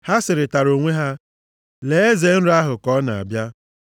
Ha sịrịtara onwe ha, “Lee eze nrọ ahụ ka ọ na-abịa!